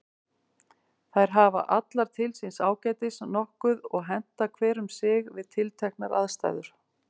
Þær hafa allar til síns ágætis nokkuð og henta hver um sig við tilteknar aðstæður.